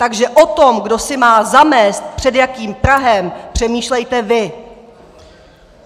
Takže o tom, kdo si má zamést před jakým prahem, přemýšlejte vy.